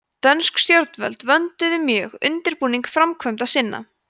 dönsk stjórnvöld vönduðu mjög undirbúning framkvæmda sinna